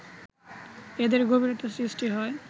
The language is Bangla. এদের গভীরতা সৃষ্টি হয়